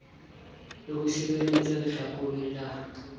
le ho sireletsa lehlakore la